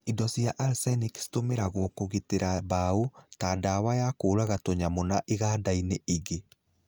Indo cia arsenic citũmĩragwo kũgitĩra mbao, ta dawa ya kũraga tũnyamo na ingandainĩ ingĩ.